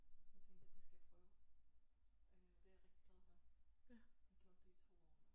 Så tænkte jeg det skal jeg prøve øh og det er jeg rigtig glad for har gjort det i 2 år nu